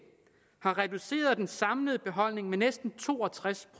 har reduceret den samlede beholdning med næsten to og tres